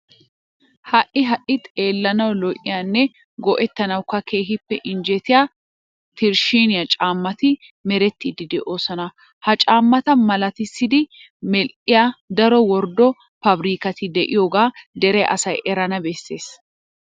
Ha"i ha"i xeellanawu lo"iyanne go"ettanawukka keehippe injjetiya tirshshiine caammati merettiiddi de'oosona. Ha caammata malatissidi medhdhiya daro worddo paabirkkati de'iyogaa dere asay erana bessees.